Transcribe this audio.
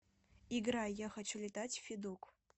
играй я хочу летать федук